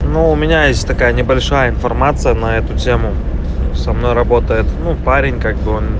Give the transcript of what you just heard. ну у меня есть такая небольшая информация на эту тему со мной работает ну парень как бы он